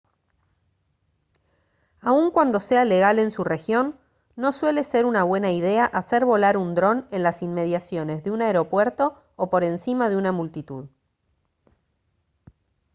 aun cuando sea legal en su región no suele ser una buena idea hacer volar un dron en las inmediaciones de un aeropuerto o por encima de una multitud